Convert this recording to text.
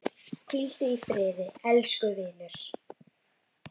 Hvíldu í friði elsku vinur.